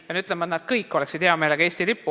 Pean ütlema, et nad kõik oleksid hea meelega Eesti lipu all.